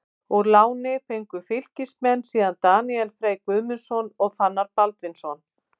Úr láni fengu Fylkismenn síðan Daníel Frey Guðmundsson og Fannar Baldvinsson.